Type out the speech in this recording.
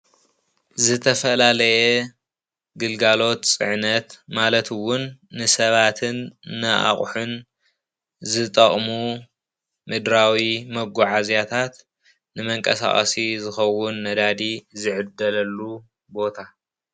ዝተፈላለየ ግልጋሎት ፅዕነት ማለት እዉን ንሰባትን ንኣቑሑን ዝጠቕሙ ምድራዊ መጓዓዝያታት ንመንቀሳቐሲ ዝኸዉን ነዳዲ ዝዕደለሉ ቦታ።